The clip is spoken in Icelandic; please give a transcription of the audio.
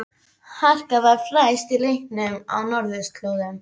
Harka var að færast í leikinn á norðurslóðum.